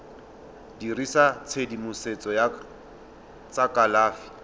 dirisa tshedimosetso ya tsa kalafi